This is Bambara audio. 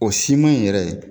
O siman in yɛrɛ ye